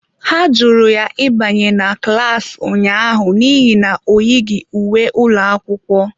Ha jụrụ ya ịbanye na klas ụnyaahụ n'ihi na ọ yighi uwe ụlọ akwụkwọ.